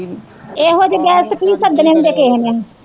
ਏਹੋ ਜਹੇ guest ਕੀ ਸੱਦਣੇ ਹੁੰਦੇ ਕਿਸੇ ਨੇ